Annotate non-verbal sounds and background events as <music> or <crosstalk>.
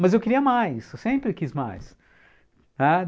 Mas eu queria mais, eu sempre quis mais. <unintelligible>